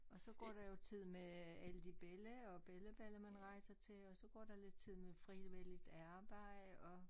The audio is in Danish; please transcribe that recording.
Og så går der jo tid med alle de belli og bellabella man rejser til og så går der lidt tid med frivilligt arbejde og